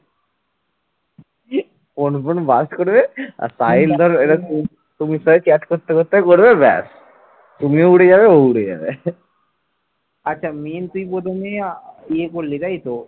আচ্ছা, main তুই প্রথম দিনে ইয়ে করলি তাইতো